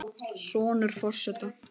Sonur forseta